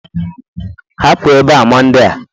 Hapụ ebe a Monde a!